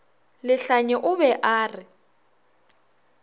lehlanye o be a re